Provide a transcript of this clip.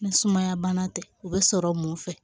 Ni sumaya bana tɛ u bɛ sɔrɔ mun fɛ